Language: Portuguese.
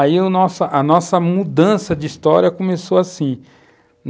Aí a nossa mudança de história começou assim.